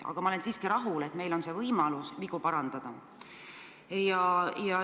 Aga ma olen siiski rahul, et meil on võimalus vigu parandada.